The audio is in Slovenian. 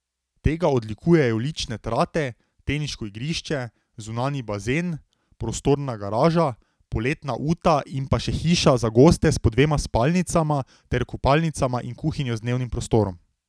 Tega odlikujejo lične trate, teniško igrišče, zunanji bazen, prostorna garaža, poletna uta in pa še hiša za goste s po dvema spalnicama ter kopalnicama in kuhinjo z dnevnim prostorom.